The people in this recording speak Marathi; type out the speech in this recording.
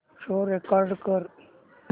शो रेकॉर्ड कर